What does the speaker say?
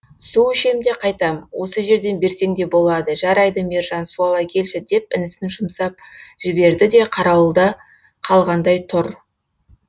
су ішем де қайтам осы жерден берсең де болады жарайды мержан су ала келші деп інісін жұмсап жіберді де қарауылда қалғандай тұр